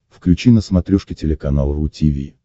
включи на смотрешке телеканал ру ти ви